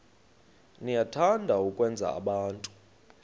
niyathanda ukwenza abantu